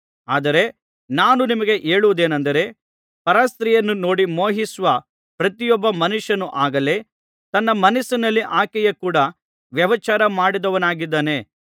ಆದರೆ ನಾನು ನಿಮಗೆ ಹೇಳುವುದೇನಂದರೆ ಪರಸ್ತ್ರೀಯನ್ನು ನೋಡಿ ಮೋಹಿಸುವ ಪ್ರತಿಯೊಬ್ಬ ಮನುಷ್ಯನು ಆಗಲೇ ತನ್ನ ಮನಸ್ಸಿನಲ್ಲಿ ಆಕೆಯ ಕೂಡ ವ್ಯಭಿಚಾರ ಮಾಡಿದವನಾಗಿದ್ದಾನೆ